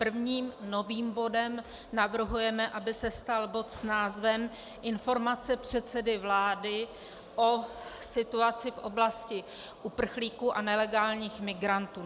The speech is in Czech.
Prvním novým bodem navrhujeme, aby se stal bod s názvem Informace předsedy vlády o situaci v oblasti uprchlíků a nelegálních migrantů.